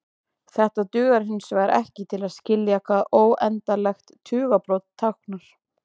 Þetta dugar hinsvegar ekki til að skilja hvað óendanlegt tugabrot táknar.